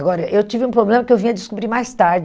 Agora, eu tive um problema que eu vim a descobrir mais tarde.